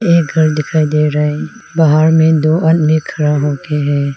एक घर दिखाई दे रा है बाहर में दो आदमी खड़ा हो के है।